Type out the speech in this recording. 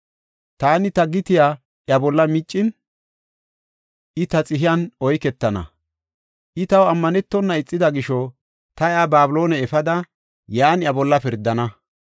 Taani ta gitiya iya bolla miccin, I ta xihiyan oyketana. I taw ammanetona ixida gisho ta iya Babiloone efada, yan iya bolla pirdana.